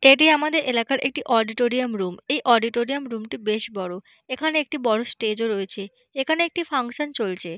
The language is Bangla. এটি আমাদের এলাকার একটি অডিটোরিয়াম রুম এই অডিটোরিয়াম রুম - টি বেশ বড় এখানে একটি বড় স্টেজ ও রয়েছে এখানে একটি ফাঙ্কশন চলছে।